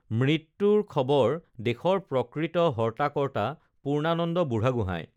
মৃত্যুৰ খবৰ দেশৰ প্ৰকৃত হৰ্তা কৰ্তা পূৰ্ণানন্দ বুঢ়াগোহাঁই